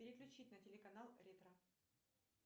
переключить на телеканал ретро